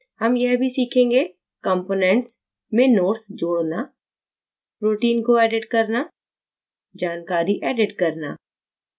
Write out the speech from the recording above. हम यह भी सीखेंगे : components में notes जोड़ना protein को edit करना जानकारी edit करना